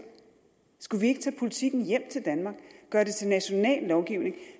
skulle vi ikke tage politikken hjem til danmark og gøre det til national lovgivning